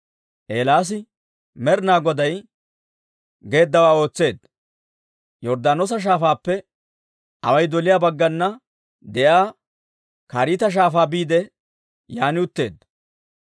Eelaasi Med'inaa Goday geeddawaa ootseedda; Yorddaanoosa Shaafaappe away doliyaa baggana de'iyaa Kariita Shaafaa biide, yaan utteedda.